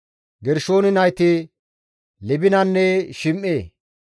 Gershoone nayti Libinanne Shim7e;